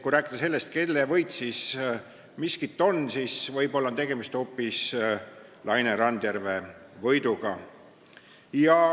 Kui rääkida sellest, kelle võit miskit on, siis võib-olla on siin tegemist hoopis Laine Randjärve võiduga.